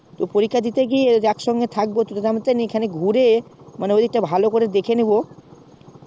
পরীক্ষা দিতে গিয়ে একসঙ্গে থাকবো তোতে আমতে আমি খানিক ঘুরে মানে ঐদিকটা ভালো করে দেখে নেবো